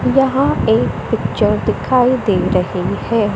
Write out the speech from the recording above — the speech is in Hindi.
वहां पे पिक्चर दिखाई दे रहे है।